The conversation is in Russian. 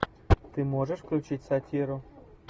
ты можешь включить сатиру